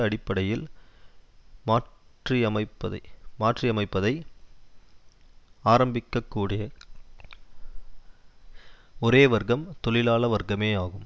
அடிப்படையில் மாற்றியமைப்பதை ஆரம்பிக்கக்கூடிய ஒரே வர்க்கம் தொழிலாள வர்க்கமேயாகும்